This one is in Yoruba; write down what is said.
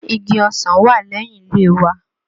Igi ọsàn wà lẹ́yìn ilé wa.